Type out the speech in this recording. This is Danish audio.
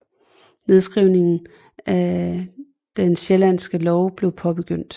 Nedskrivningen af Den sjællandske lov blev påbegyndt